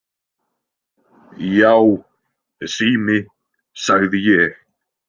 Já, sími, sagði ég!